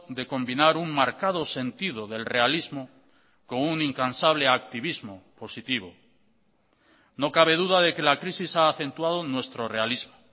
de combinar un marcado sentido del realismo con un incansable activismo positivo no cabe duda de que la crisis ha acentuado nuestro realismo